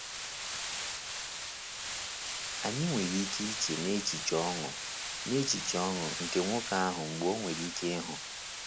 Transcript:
Anyị nwere ike iche n’echiche ọṅụ n’echiche ọṅụ nke nwoke ahụ mgbe o nwere ike ịhụ.